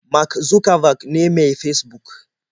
Mark Zuckerberg ne mai Fesbuk